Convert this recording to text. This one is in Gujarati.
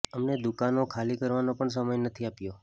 અમને દુકાનો ખાલી કરવાનો પણ સમય નથી આપ્યો